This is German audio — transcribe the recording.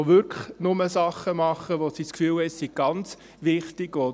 Es werden wirklich nur Dinge gemacht, von denen sie das Gefühl haben, es sei ganz wichtig.